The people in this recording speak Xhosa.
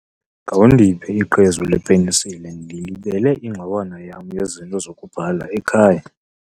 Khawundiphe iqhezu lepenisile, ndilibele ingxowana yam yezinto zokubhala ekhaya.